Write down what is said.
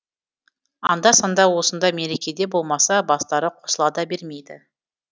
анда санда осында мерекеде болмаса бастары қосыла да бермейді